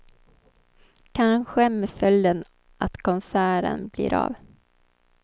Kanske med följden att konserten blir av.